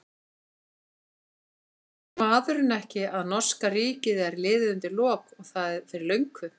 Skilur maðurinn ekki að norska ríkið er liðið undir lok og það fyrir löngu?